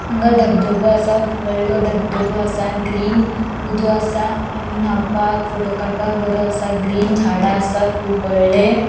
हांगा डबधबो असा वॉडलों डबधबो असा ग्रीन उदो असा आणि नावपाक फोटो काडपाक बरो असा ग्रीन झाडा असा कुब वडले --